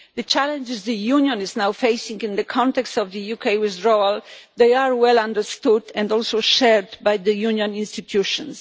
The challenges the Union is now facing in the context of the UK withdrawal are well understood and also shared by the Union institutions.